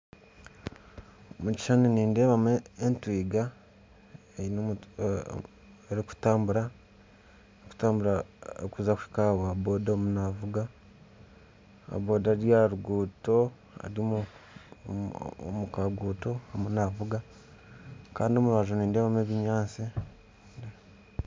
Omu kishushani nindebamu etwiga, erikutambura kuhika aha wa bodaboda oriyo naavuga, owa boda ari omu kaguuto ariyo naavuga kandi omu rubaju nindeebamu ebinyatsi